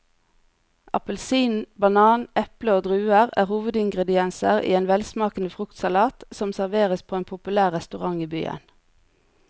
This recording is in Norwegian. Appelsin, banan, eple og druer er hovedingredienser i en velsmakende fruktsalat som serveres på en populær restaurant i byen.